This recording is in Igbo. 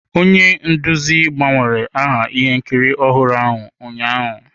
Onye nduzi gbanwere aha ihe nkiri ọhụrụ ahụ ụnyaahụ.